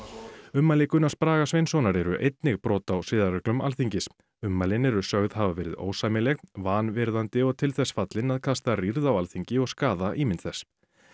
ummæli Gunnars Braga Sveinssonar eru einnig brot á siðareglum Alþingis ummælin eru sögð hafa verið ósæmileg vanvirðandi og til þess fallin að kasta rýrð á Alþingi og skaða ímynd þess